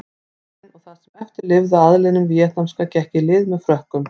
Keisarinn og það sem eftir lifði af aðlinum víetnamska gekk í lið með Frökkum.